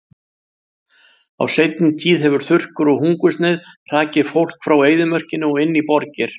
Á seinni tíð hefur þurrkur og hungursneyð hrakið fólk frá eyðimörkinni og inn í borgir.